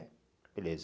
Beleza.